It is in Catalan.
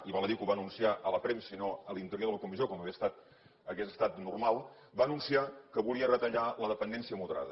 i val a dir que ho va anunciar a la premsa i no a l’interior de la comissió com hauria estat normal va anunciar que volia retallar la dependència moderada